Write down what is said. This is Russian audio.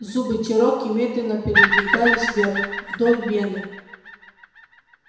зубы чероки медленно передвигались вверх вдоль вены